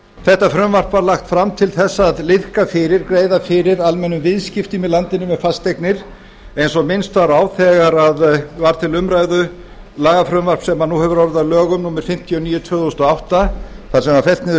þetta frumvarp var lagt fram til að greiða fyrir almennum viðskiptum í landinu með fasteignir eins og minnst var á þegar var til umræðu lagafrumvarp sem nú hefur orðið að lögum númer fimmtíu og níu tvö þúsund og átta þar sem var fellt niður